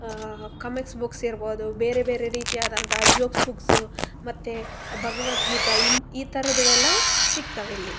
ಆ comics books ಇರಬಹುದು ಮತ್ತೆ ಬೇರೆ ಬೇರೆ ರೀತಿಯಾದಂತಹ ಜೋಕ್ಸ್ ಬುಕ್ಸ್ ಮತ್ತೆ ಭಗವದ್ಗೀತೆ ಈ ತರದ್ ಯಲ್ಲವು ಸಿಗ್ತವ ಇಲ್ಲಿ.